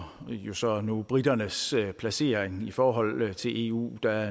jo så nu briternes placering i forhold til eu der